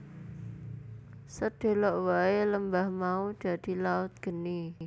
Sedhela wae lembah mau dadi laut geni